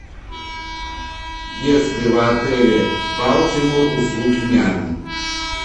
есть в отеле балтимор услуги няни